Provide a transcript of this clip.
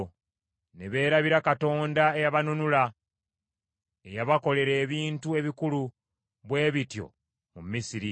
Ne beerabira Katonda eyabanunula, eyabakolera ebintu ebikulu bwe bityo mu Misiri,